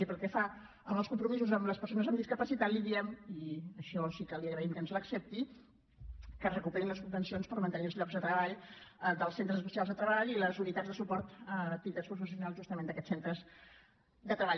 i pel que fa als compromisos amb les persones amb discapacitat li diem i això sí que li agraïm que ens ho accepti que es recuperin les subvencions per mantenir els llocs de treball dels centres especials de treball i les unitats de suport a activitats professionals justament d’aquests centres de treball